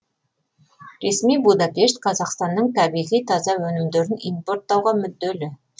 ресми будапешт қазақстанның табиғи таза өнімдерін импорттауға мүдделі